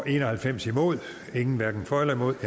en og halvfems hverken for eller imod